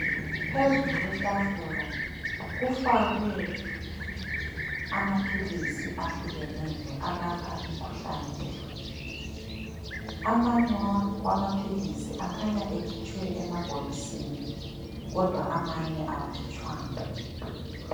Phezulu kwetafula kufakwe amaphilizi ahlukeneyo alapha imikhuhlane ehlukeneyo. Amanye amaphilisi khanya ekhutshwe emabhokisini kodwa amanye awakhitshwanga.